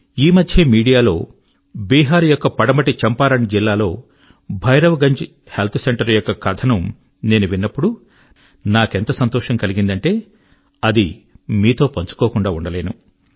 ఈ మధ్యే మీడియా లో బీహార్ యొక్క పడమటి చంపారణ్ జిల్లాలో భైరవగంజ్ హెల్త్ సెంటర్ యొక్క కథ ను నేను విన్నప్పుడు నాకెంత సంతోషం కలిగిందంటే మీతో పంచుకోకుండా ఉండలేను